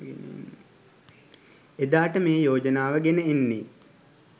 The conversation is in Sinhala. එදාට මේ යෝජනාව ගෙන එන්නේ